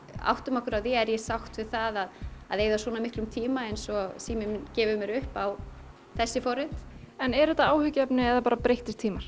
áttum okkur á því er ég sátt við það að eyða svona miklum tíma eins og síminn minn gefi mér upp á þessi forrit er þetta áhyggjuefni eða bara breyttir tímar